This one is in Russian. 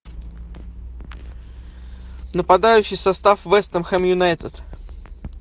нападающий состав вест хэм юнайтед